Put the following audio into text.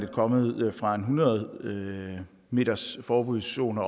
kommet fra en oprindelig hundrede metersforbudszone